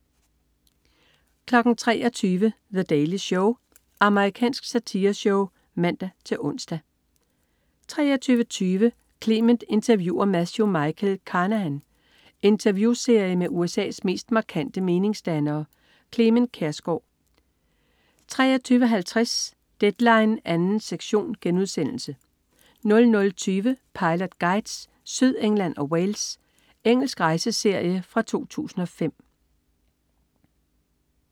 23.00 The Daily Show. Amerikansk satireshow (man-ons) 23.20 Clement interviewer Matthew Michael Carnahan. Interviewserie med USA's mest markante meningsdannere. Clement Kjersgaard 23.50 Deadline 2. sektion* 00.20 Pilot Guides: Sydengland og Wales. Engelsk rejseserie fra 2005